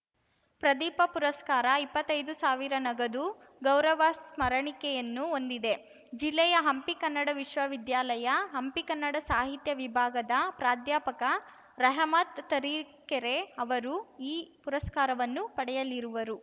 ಪ್ರದೀಪ ಪುರಸ್ಕಾರ ಇಪ್ಪತ್ತೈದು ಸಾವಿರ ನಗದು ಗೌರವ ಸ್ಮರಣಿಕೆಯನ್ನು ಹೊಂದಿದೆ ಜಿಲ್ಲೆಯ ಹಂಪಿ ಕನ್ನಡ ವಿಶ್ವವಿದ್ಯಾಲಯ ಹಂಪಿ ಕನ್ನಡ ಸಾಹಿತ್ಯ ವಿಭಾಗದ ಪ್ರಾಧ್ಯಾಪಕ ರೆಹಮತ್‌ ತರೀಕೆರೆ ಅವರು ಈ ಪುರಸ್ಕಾರವನ್ನು ಪಡೆಯಲಿರುವರು